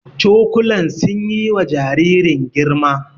Cokulan sun yi wa jaririn girma